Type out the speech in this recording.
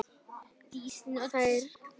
Þær umræður geymi ég vel.